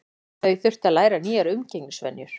Þau þurftu að læra nýjar umgengnisvenjur.